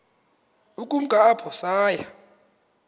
ukumka apho saya